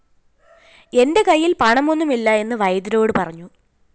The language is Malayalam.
എന്റെ കയ്യില്‍ പണമൊന്നുമില്ല എന്ന് വൈദ്യരോട് പറഞ്ഞു